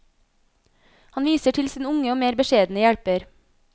Han viser til sin unge og mer beskjedne hjelper.